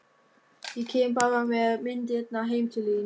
Ég kem bara með myndirnar heim til þín.